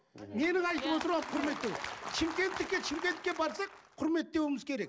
менің айтып отырғаным құрметтеу шымкенттікі шымкентке барсақ құрметтеуіміз керек